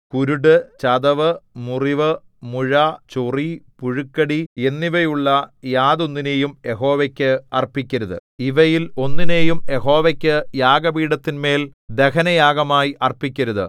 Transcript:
കുരുട് ചതവ് മുറിവ് മുഴ ചൊറി പുഴുക്കടി എന്നിവയുള്ള യാതൊന്നിനെയും യഹോവയ്ക്ക് അർപ്പിക്കരുത് ഇവയിൽ ഒന്നിനെയും യഹോവയ്ക്ക് യാഗപീഠത്തിന്മേൽ ദഹനയാഗമായി അർപ്പിക്കരുത്